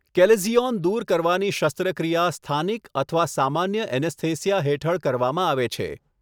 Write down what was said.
Chalazion દૂર કરવાની શસ્ત્રક્રિયા સ્થાનિક અથવા સામાન્ય એનેસ્થેસિયા હેઠળ કરવામાં આવે છે.